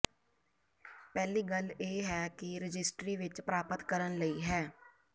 ਪਹਿਲੀ ਗੱਲ ਇਹ ਹੈ ਕਿ ਰਜਿਸਟਰੀ ਵਿੱਚ ਪ੍ਰਾਪਤ ਕਰਨ ਲਈ ਹੈ